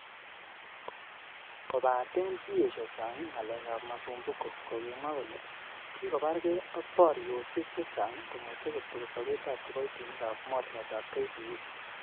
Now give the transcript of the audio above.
Kobaten kiiyesho Sang ngalek ab Masumbuko, kokimwa kole kekobarge ak boriosiek chechang komoche kotokos sobetab kiboitinikab mornetab KPA.